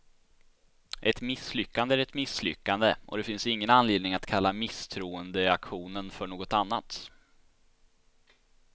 Ett misslyckande är ett misslyckande, och det finns ingen anledning att kalla misstroendeaktionen för något annat.